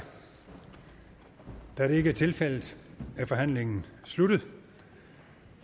da det ikke er tilfældet er forhandlingen sluttet